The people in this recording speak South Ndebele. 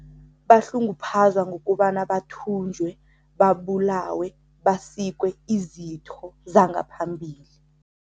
Bahlunguphazwa ngokobana bathunjwe, babulawe, basikwe izitho zangaphambili.